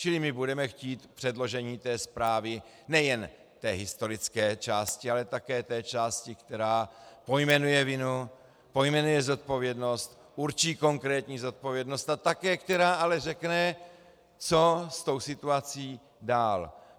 Čili my budeme chtít předložení té zprávy, nejen té historické části, ale také té části, která pojmenuje vinu, pojmenuje zodpovědnost, určí konkrétní zodpovědnost a také která ale řekne, co s tou situací dál.